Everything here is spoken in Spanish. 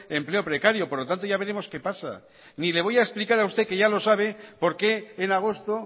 empleo precario por lo tanto ya veremos qué pasa mire voy a explicar a usted que ya lo sabe por qué en agosto